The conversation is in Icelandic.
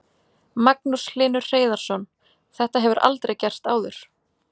Magnús Hlynur Hreiðarsson: Þetta hefur aldrei gerst áður?